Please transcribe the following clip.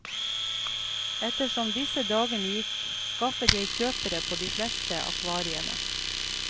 Ettersom disse dagene gikk, skaffet jeg kjøpere på de fleste akvariene.